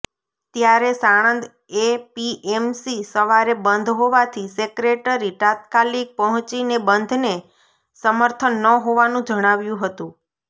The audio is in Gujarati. ત્યારે સાણંદ એપીએમસી સવારે બંધ હોવાથી સેક્રેટરી તાત્કાલિક પહોંચીને બંધને સમર્થન ન હોવાનું જણાવ્યું હતું